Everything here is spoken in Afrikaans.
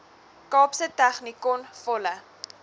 kaapse technikon volle